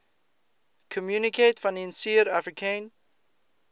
communaute financiere africaine